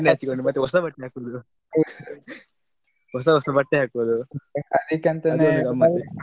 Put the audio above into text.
ಎಣ್ಣೆ ಹಚ್ಚಿಕೊಂಡು ಮತ್ತೆ ಹೊಸ ಬಟ್ಟೆ ಹಾಕುದು ಹೊಸ ಹೊಸ ಬಟ್ಟೆ ಹಾಕುದು ಅದು ಒಂದು ಗಮ್ಮತ್.